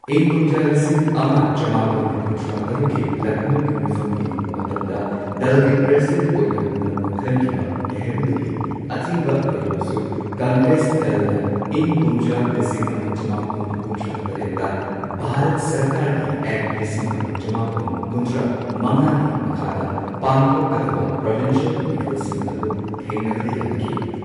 ꯏꯪ ꯀꯨꯝꯖꯥ ꯂꯤꯁꯤꯡ ꯑꯃ ꯆꯃꯥꯄꯟ ꯀꯨꯟꯊ꯭ꯔꯥ ꯇꯔꯨꯛꯀꯤ ꯂꯈꯅꯧꯒꯤ ꯃꯤꯐꯝꯒꯤ ꯃꯇꯝꯗ ꯗꯜꯒꯤ ꯄ꯭ꯔꯁꯤꯗꯦꯟꯠ ꯑꯣꯏꯅ ꯅꯧꯅ ꯈꯟꯈꯤꯕ ꯅꯦꯍꯔꯨꯗꯒꯤ ꯑꯊꯤꯡꯕ ꯂꯩꯔꯕꯁꯨ ꯀꯪꯒ꯭ꯔꯦꯁ ꯗꯜꯅ ꯏꯪ ꯀꯨꯝꯖꯥ ꯂꯤꯁꯤꯡ ꯑꯃ ꯆꯃꯥꯄꯟ ꯀꯨꯟꯊ꯭ꯔꯥ ꯇꯔꯦꯠꯇ ꯚꯥꯔꯠ ꯁꯔꯀꯥꯔꯒꯤ ꯑꯦꯛ ꯂꯤꯁꯤꯡ ꯑꯃ ꯆꯃꯥꯄꯟ ꯀꯨꯟꯊ꯭ꯔꯥ ꯃꯉꯥꯒꯤ ꯃꯈꯥꯗ ꯄꯥꯡꯊꯣꯛꯀꯗꯕ ꯄ꯭ꯔꯣꯚꯤꯟꯁꯤꯌꯦꯜ ꯃꯤꯈꯜꯁꯤꯡ ꯑꯗꯨ ꯊꯦꯡꯅꯕꯗ ꯌꯥꯅꯈꯤ꯫